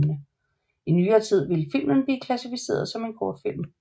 I nyere tid ville filmen blive klassificeret som en kortfilm